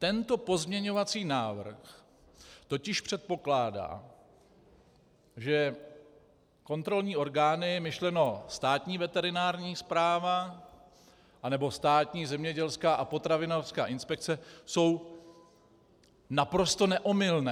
Tento pozměňovací návrh totiž předpokládá, že kontrolní orgány, myšleno Státní veterinární správa anebo Státní zemědělská a potravinářská inspekce, jsou naprosto neomylné.